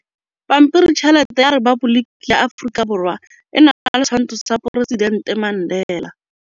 Pampiritšheletê ya Repaboliki ya Aforika Borwa e na le setshwantshô sa poresitentê Mandela.